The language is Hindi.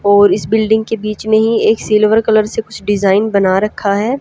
और इस बिल्डिंग के बीच में ही एक सिल्वर कलर से कुछ डिजाइन बना रखा है।